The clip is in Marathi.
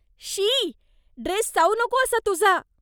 शी, ड्रेस चावू नको असा तुझा.